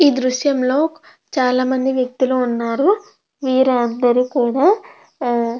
ఈ దృశ్యం లో చాలామంది వ్యక్తులు ఉన్నారు. వీరందరూ కూడా --